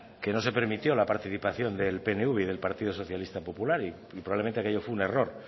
que no se permitió la participación del pnv y del partido socialista popular y probablemente aquello fue un error